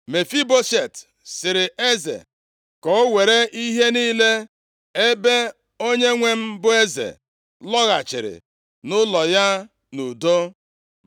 Mefiboshet sịrị eze, “Ka o were ihe niile ebe onyenwe m bụ eze lọghachiri nʼụlọ ya nʼudo.”